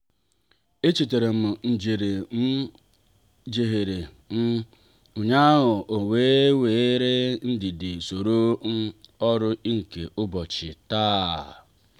echetaram njehie m um jehiere um ụnyaahụ ọ wee were ndidi soro um ọrụ nke ụbọchị taa.